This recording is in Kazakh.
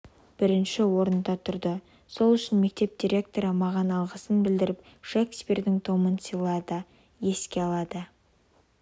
бірінші орында тұрды сол үшін мектеп директоры маған алғысын білдіріп шекспирдің томын сыйлады еске алады